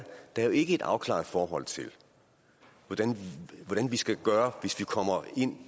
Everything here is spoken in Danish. der jo ikke er et afklaret forhold til hvad vi skal gøre hvis vi kommer